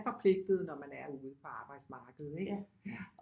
Forpligtet når man er ude på arbejdsmarkedet ikke ja